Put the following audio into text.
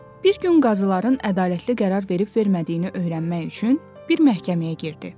Bir gün qazıların ədalətli qərar verib-vermədiyini öyrənmək üçün bir məhkəməyə girdi.